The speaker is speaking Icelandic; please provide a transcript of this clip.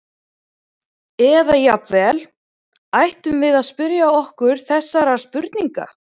Eða jafnvel: Ættum við að spyrja okkur þessara spurninga?